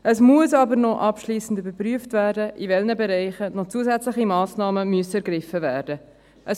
Es muss aber noch abschliessend überprüft werden, in welchen Bereichen noch zusätzliche Massnahmen ergriffen werden müssen.